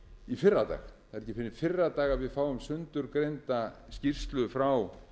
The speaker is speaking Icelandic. í fyrradag það er ekki fyrr en í fyrradag að við fáum sundurgreinda skýrslu frá